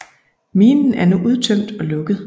Minen er nu udtømt og lukket